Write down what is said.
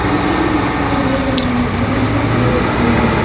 खिड़की भी दिखाई दे रहा है जो ब्लू कलर का है।